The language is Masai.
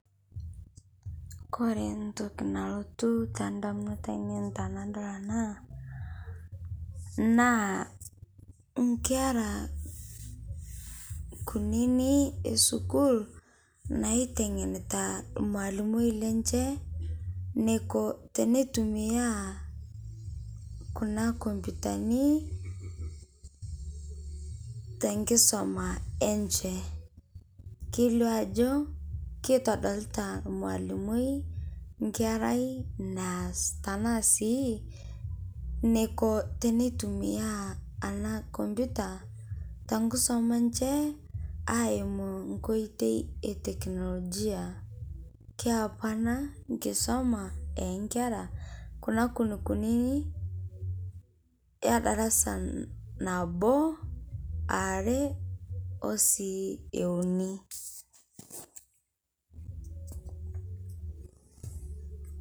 Kore ntokii nalotuu ta ndamunot anien tanadol ana naa nkeera kuninii e sukuul naiteng'nita lmwalimui lenchee neikoo tene tumia kuna kompyutani te nkisoma enchee. Keileo ajoo keitodolita lmwalimui nkeerai naas tana sii neikoo tene tumia ana kompyuta ta nkisoma enchee aimuu nkotei e teknolojia. Keyau apaa ana nkisuma e nkeera kuna kunikunini e ldaarasa naboo, aare o sii euuni.